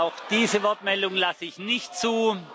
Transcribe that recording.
Auch diese Wortmeldung lasse ich nicht zu.